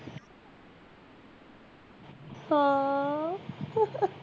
ਹਾਂ